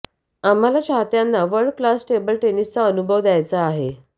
आम्हाला चाहत्यांना world class table टेनिसचा अनुभव द्यायचा आहे